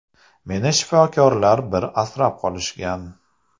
Meni shifokorlar bir asrab qolishgan.